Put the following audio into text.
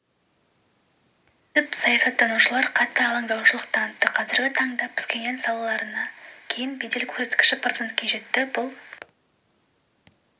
түсіп саясаттанушылар қатты алаңдаушылық танытты қазіргі таңда пхеньян сапарынан кейін бедел көрсеткіші процентке жетті бұл